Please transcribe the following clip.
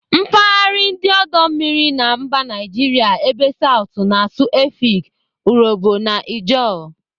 Mpaghara ndi odo mmiri na mba Naijiria ebe southu na-asụ Efik, Urhobo na Ijaw.